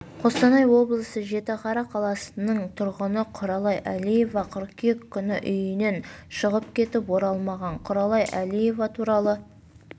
қостанай облысы жітіқара қаласының тұрғыны құралай әлиева қыркүйек күні үйінен шығып кетіп оралмаған құралай әлиева туралы